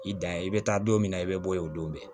I dan ye i be taa don min na i be bɔ yen o don bi